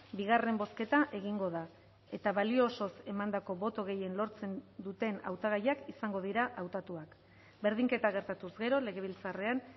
bigarren bozketa egingo da eta balio osoz emandako boto gehien lortzen duten hautagaiak izango dira hautatuak berdinketa gertatuz gero legebiltzarrean